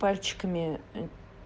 пальчиками